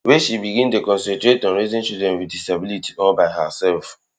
wey she begin dey concentrate on raising children wit disability all by hersef